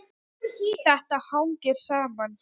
Þetta hangir saman.